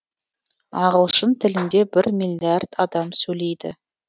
ағылшын тілінде бір миллиард адам сөйлейді